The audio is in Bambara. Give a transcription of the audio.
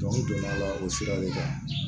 donna a la o sira de kan